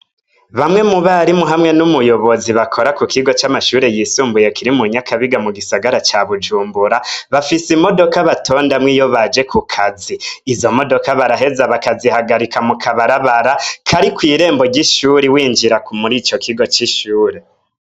Bamwe mu barimu hamwe n'umuyobozi bakora ku kigo c'amashure yisumbuye kiri mu Nyakabiga mu gisagara ca Bujumbura, bafise imodoka batondamwo iyo baje ku kazi. Izo modoka baraheza bakazihagarika mu kabarabara kari kw'irembo ry'ishuri winjira muri ico kigo c'ishure.